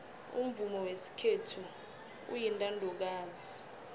umvumo wesikhethu uyintandokazi